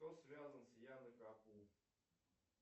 кто связан с яной капу